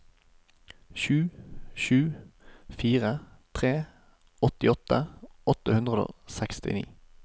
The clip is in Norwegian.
sju sju fire tre åttiåtte åtte hundre og sekstini